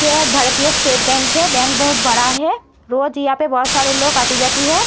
ये एक भारतीय स्टेट बैंक है। बैंक बहुत बड़ा है। रोज यहां पर बहोत सारे लोग आती जाती है।